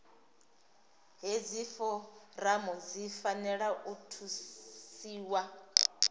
hedzi foramu dzi fanela u thusiwa